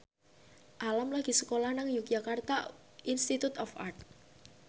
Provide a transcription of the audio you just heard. Alam lagi sekolah nang Yogyakarta Institute of Art